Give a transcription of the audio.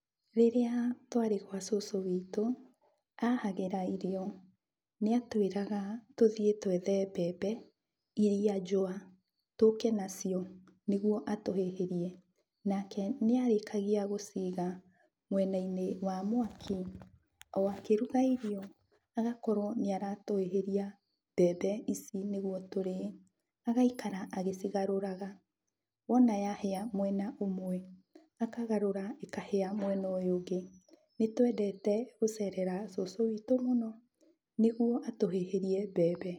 Rĩrĩa twarĩ gwa cũcũ wĩtũ, ahagĩra irio nĩ atwĩraga tũthiĩ twethe mbembe iria njũa tũke nacio nĩguo atũhĩhĩrie, nake nĩarĩkagia gũciga mwena-inĩ wa mwaki o akĩruga irio, agakorwo nĩ aratũhĩhĩria mbembe ici nĩguo tũrĩe, agaikara agĩcigarũraga, wona yahĩa mwena ũmwe, akagarũra ĩkahĩa mwena mwena ũyũ ũngĩ. Nĩtwendete gũcerera cũcũ wĩtũ mũno nĩguo atũhĩhĩrie mbembe.